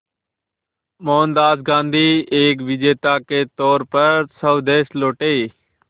मोहनदास गांधी एक विजेता के तौर पर स्वदेश लौटे